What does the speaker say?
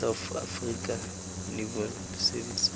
ya south african revenue service